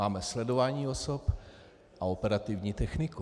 Máme sledování osob a operativní techniku.